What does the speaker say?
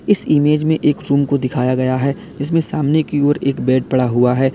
इस इमेज में एक रूम को दिखाया गया है जिसमें सामने की ओर एक बेड पड़ा हुआ है।